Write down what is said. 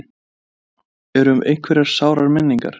Þóra: Eru einhverjar sárar minningar?